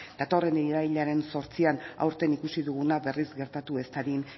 datorren irailaren zortzian aurten ikusi duguna berriz gertatu ez dadin